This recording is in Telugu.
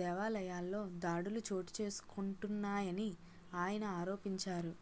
దేవాలయాల్లో దాడులు చోటు చేసుకొంటున్నాయని ఆయన ఆరోపించారు